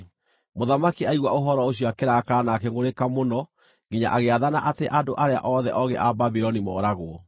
Mũthamaki aigua ũhoro ũcio akĩrakara na akĩngʼũrĩka mũno nginya agĩathana atĩ andũ arĩa othe oogĩ a Babuloni mooragwo.